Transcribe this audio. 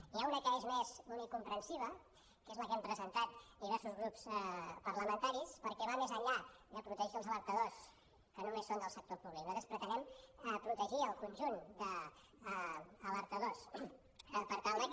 n’hi ha una que és més unicomprensiva que és la que hem presentat diversos grups parlamentaris perquè va més enllà de protegir els alertadors que només són del sector públic nosaltres pretenem protegir el conjunt d’alteradors per tal de que